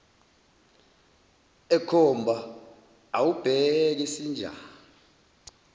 ekhomba awubheke sinjani